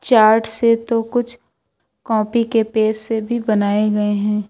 Chart से तो कुछ कॉपी के पेज से भी बनाए गए हैं।